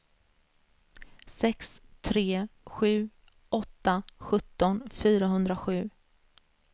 sex tre sju åtta sjutton fyrahundrasju